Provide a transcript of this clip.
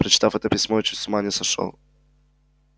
прочитав это письмо я чуть с ума не сошёл